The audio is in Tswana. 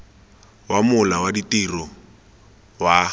wa mola wa ditiro wa